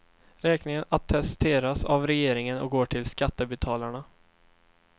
Räkningen attesteras av regeringen och går till skattebetalarna.